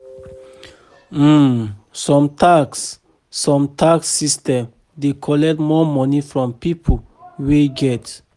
um some tax some tax system dey collect more money from pipo wey get